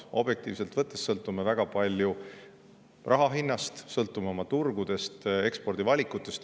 Objektiivselt võttes sõltume väga palju raha hinnast, sõltume oma turgudest ja ekspordivalikutest.